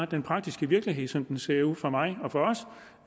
den praktiske virkelighed som den ser ud for mig og for os